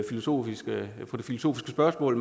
filosofiske spørgsmål